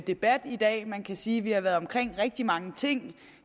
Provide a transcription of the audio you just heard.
debat i dag man kan sige at vi har været omkring rigtig mange ting